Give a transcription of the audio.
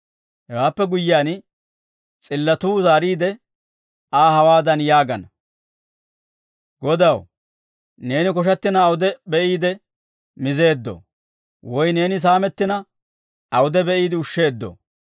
«Hewaappe guyyiyaan, s'illatuu zaariide, Aa hawaadan yaagana; ‹Godaw, neeni koshattina, awude be'iide mizeeddoo? Woy neeni saamettina, awude be'iide ushsheeddoo?